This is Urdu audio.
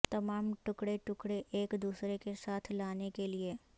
تمام ٹکڑے ٹکڑے ایک دوسرے کے ساتھ لانے کے لئے